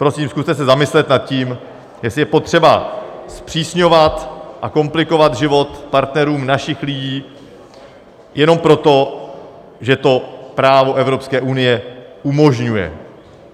Prosím, zkuste se zamyslet nad tím, jestli je potřeba zpřísňovat a komplikovat život partnerům našich lidí jenom proto, že to právo Evropské unie umožňuje.